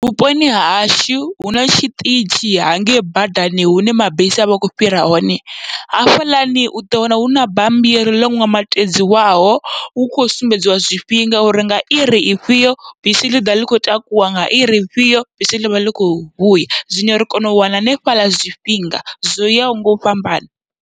Vhuponi hashu huna tshiṱitshi hangei badani hune mabisi avha a kho fhira hone, hafhaḽani uḓo wana huna bammbiri ḽo ṋambatedziwaho hu kho sumbedziwa zwifhinga, uri nga iri ifhio bisi ḽi ḓa ḽi kho takuwa, nga iri ifhio bisi ḽivha ḽi kho vhuya zwino ri kona u wana hanefhaḽa zwifhinga zwo yaho ngau fhambana.